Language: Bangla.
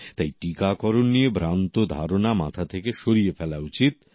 তাই টীকাকরণ নিয়ে ভ্রান্ত ধারণা মাথা থেকে সরিয়ে ফেলা উচিত